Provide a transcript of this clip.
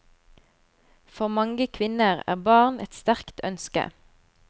For mange kvinner er barn et sterkt ønske.